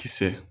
Kisɛ